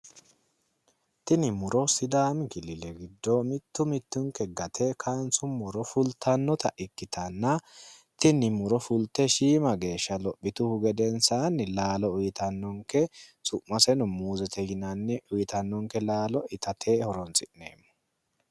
tini muro sidaami giddo mitti mittinke gate kaansummoro fultannota ikkitanna tini muro fulte shiima geeshsha lophituhu gedensaanni laalo uyiitannonke summaseno muuzete yinanni uyitannonke laalo itate horonsi'neemmo.